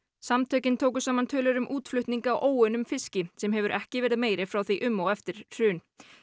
samtökin tóku saman tölur um útflutning á óunnum fiski sem hefur ekki verið meiri frá því um og eftir hrun